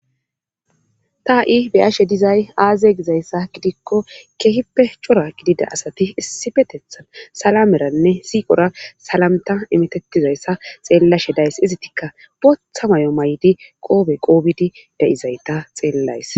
ta ha7i beyashe dizay aaze gizayssa gidikko keehippe cora gidida asati issi petethan salameranne siiqora salamta imitettizayssa xeellashe days izitika bootha may7o maydi qoobe qoobidi de7izayta xeellays